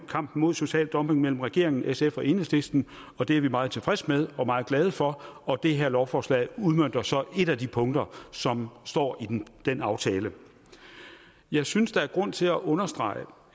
kampen mod social dumping mellem regeringen sf og enhedslisten og det er vi meget tilfredse med og meget glade for og det her lovforslag udmønter så et af de punkter som står i den aftale jeg synes der er grund til at understrege